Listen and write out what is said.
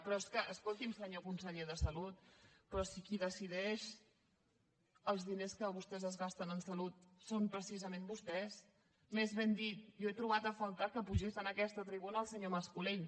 però és que escolti’m senyor conseller de salut però si qui decideix els diners que vostès es gasten en salut són precisament vostès més ben dit jo he trobat a faltar que pugés a aquesta tribuna el senyor mas colell